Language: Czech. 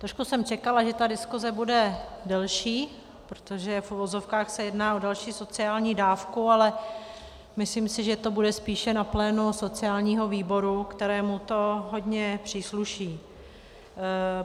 Trošku jsem čekala, že ta diskuse bude delší, protože v uvozovkách se jedná o další sociální dávku, ale myslím si, že to bude spíše na plénu sociálního výboru, kterému to hodně přísluší.